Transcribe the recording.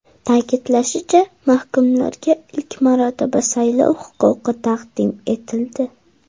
Ta’kidlanishicha, mahkumlarga ilk marotaba saylov huquqi taqdim etildi.